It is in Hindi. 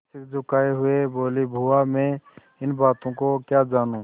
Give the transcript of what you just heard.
सिर झुकाये हुए बोलीबुआ मैं इन बातों को क्या जानूँ